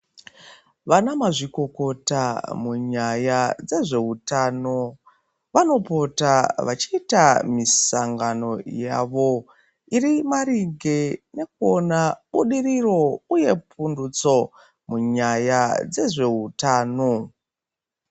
Vana mazvikokota munyaya dzezveutano, vanopota vachiita misangano yavo, iri maringe nekuona budiriro uye pundutso munyaya dzezveutano.